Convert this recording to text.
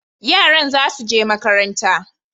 Yaran za su je makaranta,